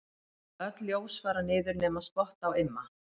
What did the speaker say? Öll ljós fara niður nema spott á Imma.